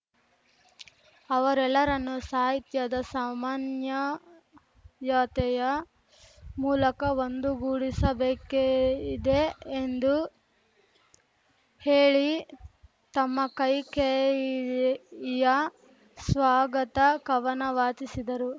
ಅವರೆಲ್ಲರನ್ನು ಸಾಹಿತ್ಯದ ಸಮನ್ಯಯತೆಯ ಮೂಲಕ ಒಂದುಗೂಡಿಸಬೇಕೆ ಇದೆ ಎಂದು ಹೇಳಿ ತಮ್ಮ ಕೈಕೇಯಿಯ ಸ್ವಗಾತ ಕವನ ವಾಚಿಸಿದರು